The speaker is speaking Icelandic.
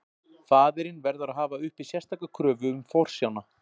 Faðirinn verður að hafa uppi sérstaka kröfu um forsjána.